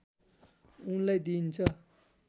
उनलाई दिइन्छ